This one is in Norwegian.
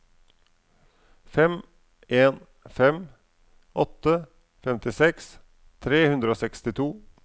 fem en fem åtte femtiseks tre hundre og sekstito